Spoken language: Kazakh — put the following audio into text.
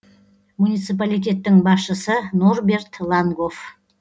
муниципалитеттің басшысы норберт лангоф